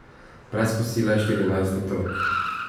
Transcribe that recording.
Brez kosila je štirinajst otrok.